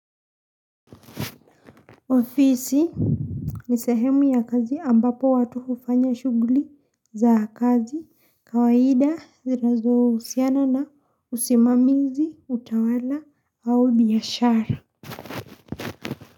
Ofisi ni sehemu ya kazi ambapo watu hufanya shughuli za kazi kawaida zinazohusiana na usimamizi utawala au biashara.